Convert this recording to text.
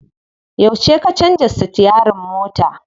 Yauce ka canza sitiyarin mota?